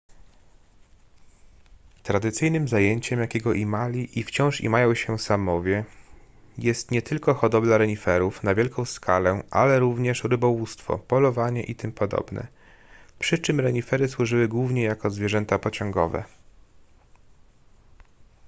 tradycyjnym zajęciem jakiego imali i wciąż imają się saamowie jest nie tylko hodowla reniferów na wielką skalę ale również rybołówstwo polowanie itp przy czym renifery służyły głównie jako zwierzęta pociągowe